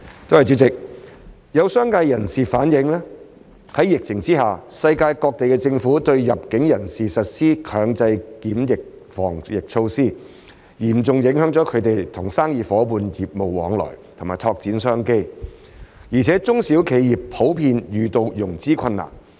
主席，有商界人士反映，在疫情下，世界各地政府對入境人士實施強制檢疫等防疫措施，嚴重影響他們與生意夥伴的業務往來及拓展商機，而且中小企業普遍遇到融資困難。